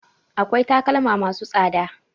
Akwai takalma ma su tsada